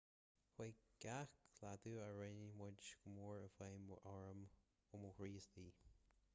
chuaigh gach cleachtadh a rinne muid go mór i bhfeidhm orm ó mo chroí istigh